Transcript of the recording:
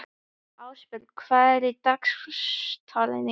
Ásborg, hvað er á dagatalinu í dag?